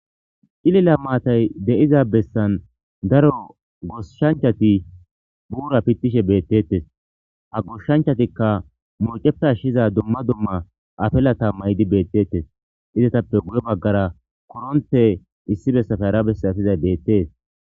ilila maatay de7iza bessan daro goshshanchati buura pittishe beettettes ha goshshanchatikka mooceppe ashshiza dumma dumma afellatammaydi beettettes izatappe guye baggara koronte issi bessafe ara bessafizay beettees